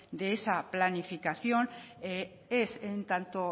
de esa planificación es en tanto